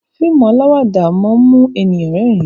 fíìmù alawada món mu èyán rérìn.